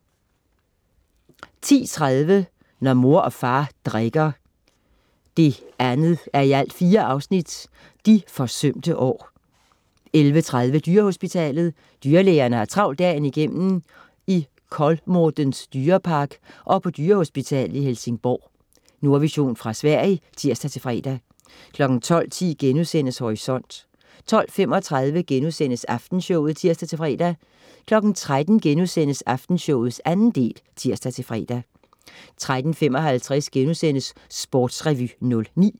10.30 Når mor og far drikker 2:4. de forsømte år 11.30 Dyrehospitalet. Dyrlægerne har travlt dagen igennem i Kolmårdens dyrepark og på dyrehospitalet i Helsingborg. Nordvision fra Sverige (tirs-fre) 12.10 Horisont* 12.35 Aftenshowet* (tirs-fre) 13.00 Aftenshowet 2. del* (tirs-fre) 13.55 Sportsrevy 09*